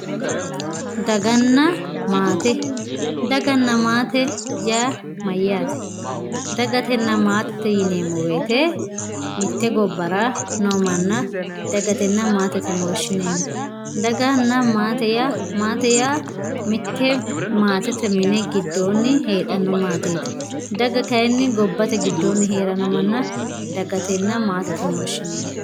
daganna maatete daganna maatete yaa mayyaate dagatenna maatete yineemmo woyiite mitte gobbara noo manna dagatenna maatete yine woshshineemmo daganna maate yaa maate yaa mitte maatete mini giddoonni heedhanno maateeti daga kayiinni gobbate giddoonni heeranno manna dagatenna maatete yine woshshineemmo.